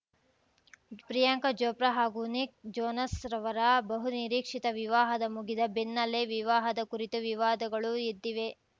ಪ್ರಿಯಾಂಕಾ ಚೋಪ್ರಾ ಹಾಗೂ Nick Jonas ರವರ ಬಹುನಿರೀಕ್ಷಿತ ವಿವಾಹದ ಮುಗಿದ ಬೆನ್ನಲ್ಲೇ ವಿವಾಹದ ಕುರಿತು ವಿವಾದಗಳೂ ಎದ್ದಿವೆ